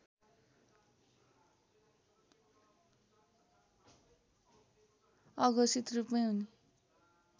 अघोषित रूपमै उनी